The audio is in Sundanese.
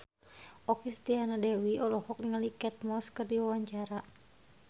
Okky Setiana Dewi olohok ningali Kate Moss keur diwawancara